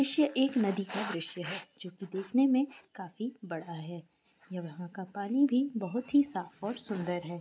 दृश्य एक नदी का दृश्य है जो कि देखने में काफी बड़ा है यहाँ का पानी भी बहुत ही साफ और सुंदर है।